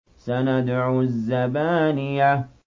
سَنَدْعُ الزَّبَانِيَةَ